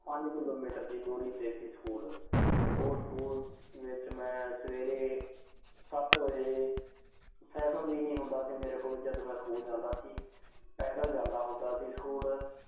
ਪੰਜ ਕਿਲੋਮੀਟਰ ਦੀ ਦੂਰੀ ਤੇ ਸੀ, ਸਕੂਲ। ਉਸ ਸਕੂਲ ਵਿੱਚ ਮੈਂ ਸਵੇਰੇ, ਸੱਤ ਵਜੇ, ਸਾਈਕਲ ਵੀ ਨੀਂ ਹੁੰਦਾ ਸੀ ਮੇਰੇ ਕੋਲ ਜਦ ਮੈਂ ਸਕੂਲ ਜਾਂਦਾ ਸੀ। ਪੈਦਲ ਜਾਂਦਾ ਹੁੰਦਾ ਸੀ ਸਕੂਲ